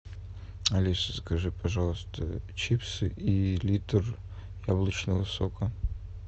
алиса закажи пожалуйста чипсы и литр яблочного сока